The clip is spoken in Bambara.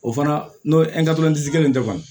O fana n'o kelen tɛ ban